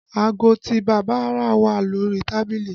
Aago tí bàbá rà wà lórí tábìlì